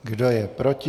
Kdo je proti?